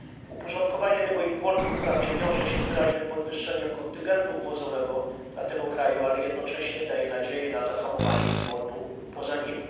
Uporządkowanie tego importu wprawdzie wiąże się z wyraźnym podwyższeniem kontyngentu wwozowego dla tego kraju, ale jednocześnie daje nadzieję na zahamowanie importu poza nim.